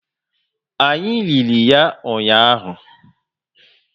Anyị lili ya ụnyaahụ